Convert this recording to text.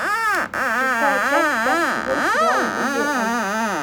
шестая часть пятый сезон сериал люди альфа